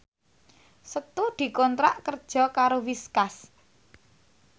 Setu dikontrak kerja karo Whiskas